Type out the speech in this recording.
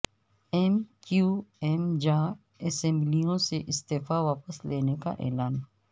M Q M جا اسمبلیوں سے استعفے واپس لینے کا اعلان